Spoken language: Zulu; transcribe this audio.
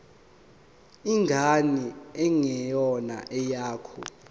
ingane engeyona eyakho